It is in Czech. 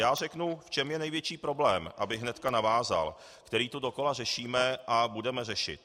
Já řeknu, v čem je největší problém, abych hned navázal, který tu dokola řešíme a budeme řešit.